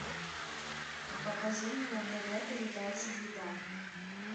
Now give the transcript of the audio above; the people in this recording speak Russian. покажи мне на тв передачу еда